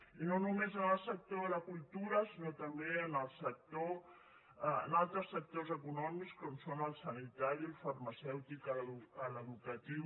i no només en el sector de la cultura sinó també en altres sectors econòmics com són el sanitari el farmacèutic l’educatiu